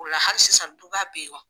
O la hali sisan duba bɛ ye